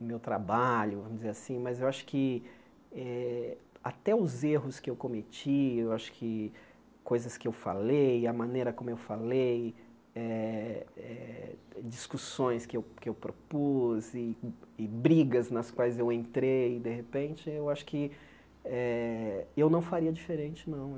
No meu trabalho, vamos dizer assim, mas eu acho que eh até os erros que eu cometi, eu acho que coisas que eu falei, a maneira como eu falei, eh eh discussões que eu que eu propus e e brigas nas quais eu entrei, de repente, eu acho que eh eu não faria diferente, não.